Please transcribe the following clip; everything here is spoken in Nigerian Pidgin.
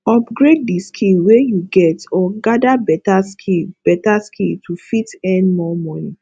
upgrade di skill wey you get or gather better skill better skill to fit earn more money